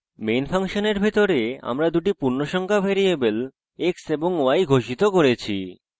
main ফাংশনের ভিতরে আমরা দুটি পূর্ণসংখ্যা ভ্যারিয়েবল x এবং y ঘোষিত করেছি